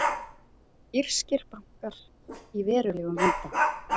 Írskir bankar í verulegum vanda